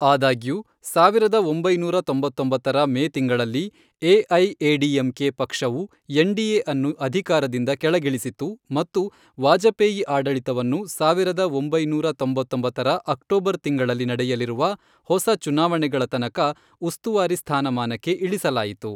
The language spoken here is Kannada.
ಆದಾಗ್ಯೂ, ಸಾವಿರದ ಒಂಬೈನೂರ ತೊಂಬತ್ತೊಂಬತ್ತರ ಮೇ ತಿಂಗಳಲ್ಲಿ ಎಐಎಡಿಎಂಕೆ ಪಕ್ಷವು ಎನ್ಡಿಎ ಅನ್ನು ಅಧಿಕಾರದಿಂದ ಕೆಳಗಿಳಿಸಿತು ಮತ್ತು ವಾಜಪೇಯಿ ಆಡಳಿತವನ್ನು, ಸಾವಿರದ ಒಂಬೈನೂರ ತೊಂಬತ್ತೊಂಬತ್ತರ ಅಕ್ಟೋಬರ್ ತಿಂಗಳಲ್ಲಿ ನಡೆಯಲಿರುವ ಹೊಸ ಚುನಾವಣೆಗಳ ತನಕ ಉಸ್ತುವಾರಿ ಸ್ಥಾನಮಾನಕ್ಕೆ ಇಳಿಸಲಾಯಿತು.